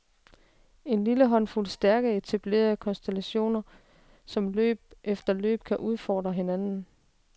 En lille håndfulde stærke etablerede konstellationer, som løb efter løb kan udfordre hinanden.